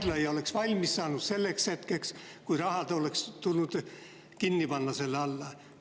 … et haigla ei oleks valmis saanud selleks hetkeks, kui selle alla oleks tulnud see raha panna.